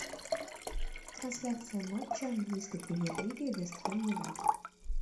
трансляция матча английской премьер лиги вест хэм юнайтед